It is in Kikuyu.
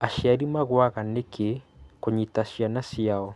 Aciari magũaga nĩkĩ kũnyita ciana ciao?